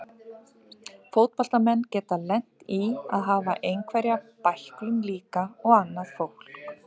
Fótboltamenn geta lent í að hafa einhverja bæklun líka og annað fólk.